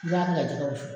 I b'a kɛ ka jɛgɛ wusu